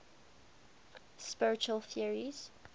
spiritual theories